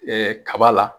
kaba la